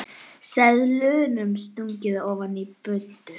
Seðlum stungið ofan í buddu.